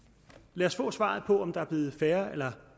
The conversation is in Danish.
lad os få svaret på om der er blevet færre eller